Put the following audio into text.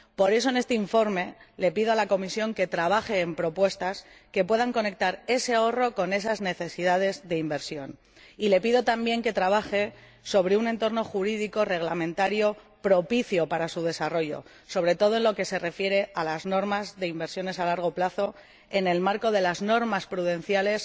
Por eso, en este informe, le pido a la Comisión que trabaje en propuestas que puedan conectar ese ahorro con esas necesidades de inversión, y le pido también que trabaje sobre un entorno jurídico reglamentario propicio para su desarrollo, sobre todo en lo que se refiere a las normas sobre inversiones a largo plazo en el marco de las normas prudenciales